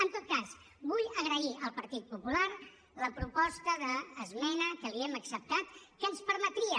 en tot cas vull agrair al partit popular la proposta d’esmena que l’hi hem acceptat que ens permetria